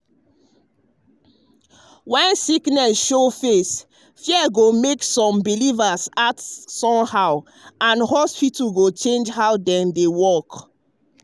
when disease show face fear go make some believers act act anyhow and hospitals um go change how dem dey work.